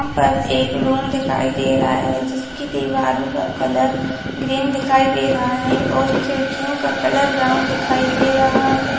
यहाँ पर एक रूम दिखाई दे रहा है जिसकी दीवारों का कलर ग्रीन दिखाई दे रहा है और खिड़कियों का कलर ब्राउन दिखाई दे रहा है।